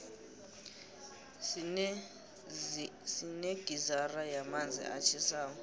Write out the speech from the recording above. sinegizara yamanzi atjhisako